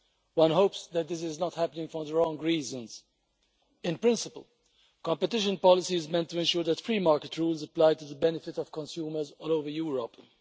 One hopes that this is not happening for the wrong reasons. In principle, competition policy is meant to ensure that free market rules apply to the benefit of consumers all over Europe.